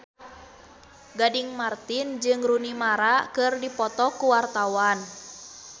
Gading Marten jeung Rooney Mara keur dipoto ku wartawan